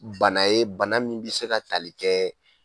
Bana ye bana mun be se ka tali kɛ